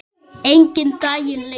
Enginn daginn lengir.